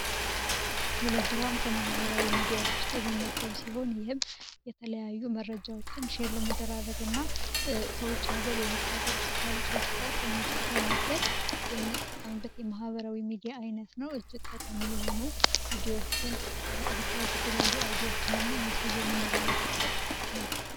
ቴሌግራም ከመህበራዊ ሚዲያዎች ውስጥ የሚመደብ ሲሆን ይህም የተለያዩ መረጃዎችን ሼር ለምደራረግ እና ከውጭ ሀገር ወየሚካሀገር ውስጥ ከሉ ሶዎች ጋር ኮሚኒኬት ለማድረግ የምንጠቀምበት የመሀበራዊ ሚዲያ አይነት ነው። እጅግ ተቃሚ የሆኑ ቪዲዎችን ሪካርድ የተለያዩ አውዶዎችን እና ሚሴዥ የምንለላክበት ነው።